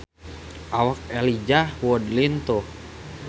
Awak Elijah Wood lintuh